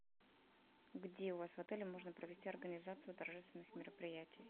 где у вас отеле можно провести организацию торжественных мероприятий